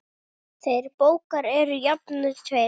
Þeir bógar eru jafnan tveir.